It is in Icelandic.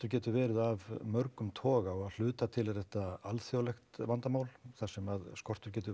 getur verið af mörgum toga og að hluta til er þetta alþjóðlegt vandamál þar sem að skortur getur